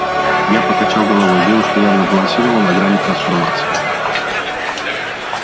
я покачал головой девушка явно балансировала на грани трансформации